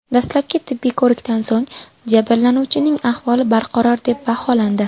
Dastlabki tibbiy ko‘rikdan so‘ng jabrlanuvchining ahvoli barqaror deb baholandi.